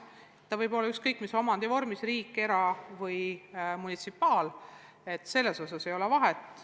Kool võib olla ükskõik mis omandivormis – riigi-, era- või munitsipaalkool –, vahet ei ole.